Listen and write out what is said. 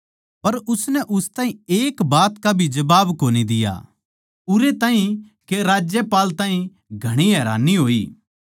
पर उसनै उस ताहीं एक बात का भी जबाब कोनी दिया उरै ताहीं के राज्यपाल ताहीं घणी हैरानी होई